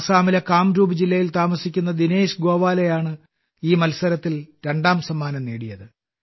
അസമിലെ കാംരൂപ് ജില്ലയിൽ താമസിക്കുന്ന ദിനേശ് ഗോവാലയാണ് ഈ മത്സരത്തിൽ രണ്ടാം സമ്മാനം നേടിയത്